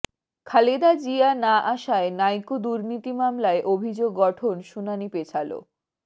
খালেদা জিয়া না আসায় নাইকো দুর্নীতি মামলায় অভিযোগ গঠন শুনানি পেছালো